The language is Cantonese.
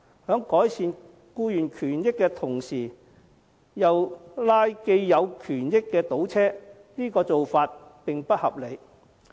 在改善僱員權益的同時又拉既有權益的倒車，這種做法並不合理。